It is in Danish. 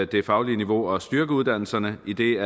det faglige niveau og styrke uddannelserne idet